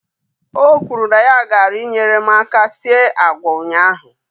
O kwuru na ya gaara I nyere m aka sie agwa ụnyaahụ.